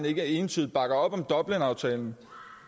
ikke entydigt bakker op om dublinaftalen